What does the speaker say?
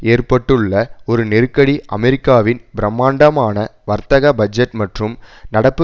ஏற்பட்டுள்ள ஒரு நெருக்கடி அமெரிக்காவின் பிரம்மாண்டமான வர்த்தக பட்ஜெட் மற்றும் நடப்பு